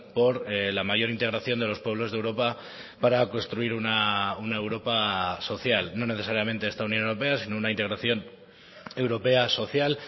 por la mayor integración de los pueblos de europa para construir una europa social no necesariamente esta unión europea sino una integración europea social